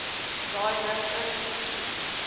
daai rigting geskiet